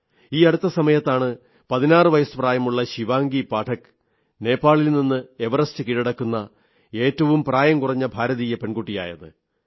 ഈ അടുത്ത സമയത്താണ് 16 വയസ് പ്രായമുള്ള ശിവാംഗി പാഠക് നേപ്പാളിൽ നിന്ന് എവറസ്റ്റ് കീഴടക്കുന്ന ഏറ്റവും പ്രായം കുറഞ്ഞ ഭാരതീയ പെൺകുട്ടിയായത്